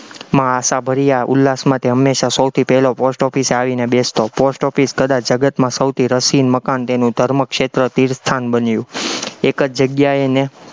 માં આશાભર્યા ઉલ્લાસમાથી હંમેશા સૌથી પહેલો post office એ આવીને બેસતો, post office કદાચ જગતમાં સૌથી રસીન મકાન તેનું ધર્મક્ષેત્ર તીર્થસ્થાન બન્યું, એક જ જગ્યાએને